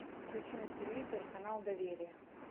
включи на телевизоре канал доверие